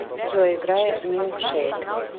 джой играй милкшейк